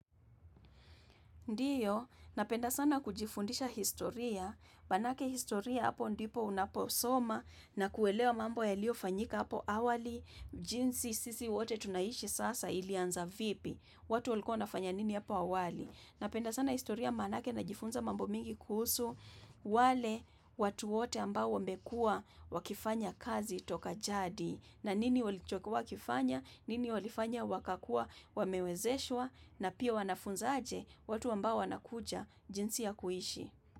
Ndiyo, napenda sana kujifundisha historia, maanake historia hapo ndipo unaposoma na kuelewa mambo yaliofanyika hapo awali, jinsi sisi wote tunaishi sasa ilianza vipi, watu walikuwa wanafanya nini hapo awali. Napenda sana historia maanake na jifunza mambo mingi kuhusu wale watu wote ambao wamekua wakifanya kazi toka jadi na nini walichokuwa wakifanya, nini walifanya wakakua wamewezeshwa na pia wanafunza aje watu ambao wanakuja jinsi ya kuishi.